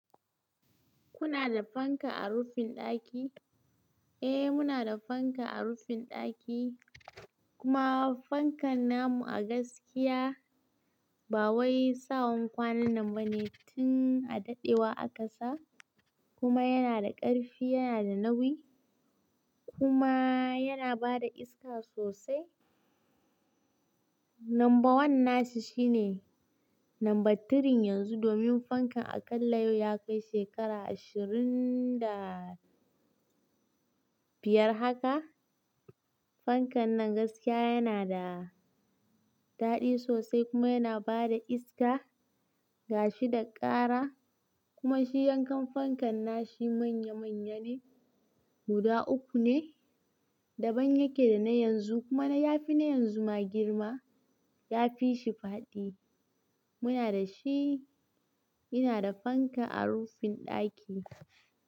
Kuna da fanka a rufin ɗaki? Eh, muna da fanka a rufin ɗaki, kuma fankan na mu a gaskiya ba wai sawan kwanannan bane. Tun a daɗewa aka sa kuma yana da ƙarfi, yana da nauyi, kuma yana bada iska sosai. Number one nashi shine Number three yanzu domin fankan aƙalla yau ya kai shekara ashirin da biyar haka. Fankan nan gaskiya yana da daɗi sosai kuma yana bada iska, gashi da ƙara. Kuma shi yankan fankan na shi manya-manya ne. Guda uku ne. Daban yake da na yanzu kuma ya fi na yanzu ma girma. Ya fi shi faɗi. Muna da shi. Ina da fanka a rufin ɗaki.